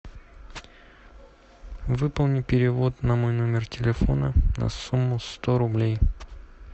выполни перевод на мой номер телефона на сумму сто рублей